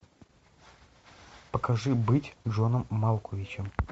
покажи быть джоном малковичем